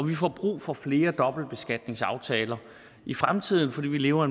vi får brug for flere dobbeltbeskatningsaftaler i fremtiden fordi vi lever